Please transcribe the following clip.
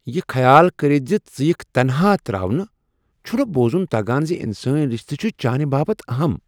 یہ خیال کرتھ ز ژٕ یکھ تنہا تراونہ ، چھُ نہ بوزُن تگان ز انسٲنی رشتہ چھ چانہ باپت اہم۔